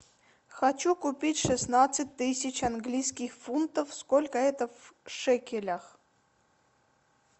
хочу купить шестнадцать тысяч английских фунтов сколько это в шекелях